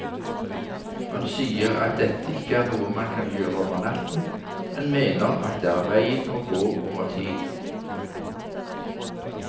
Hun sier at dette ikke er noe man kan gjøre over natten, men mener at det er veien å gå over tid.